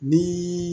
Ni